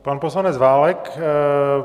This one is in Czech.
Pan poslanec Válek.